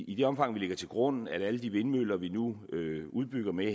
i det omfang vi lægger til grund at alle de vindmøller vi nu udbygger med